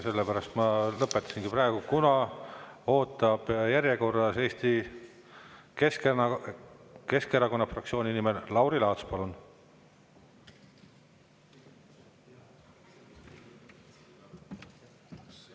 Sellepärast ma lõpetasingi praegu, kuna järjekorras ootab Eesti Keskerakonna fraktsiooni nimel Lauri Laats.